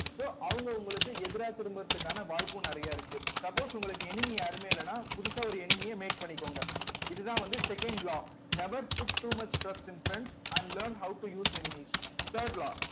so அவங்க உங்களுக்கு எதிரா திரும்பறதுக்கான வாய்ப்பும் நிறைய இருக்கு suppose உங்களுக்கு enemy யாருமே இல்லைன்னா புதுசா ஒரு enemy அ make பண்ணிக்கோங்க இதுதான் வந்து second law never put too much trust in friends and learn how to use enemies third law